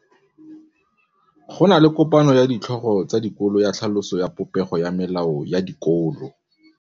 Go na le kopanô ya ditlhogo tsa dikolo ya tlhaloso ya popêgô ya melao ya dikolo.